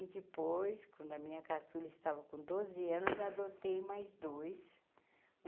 E depois, quando a minha caçula estava com doze anos, adotei mais dois.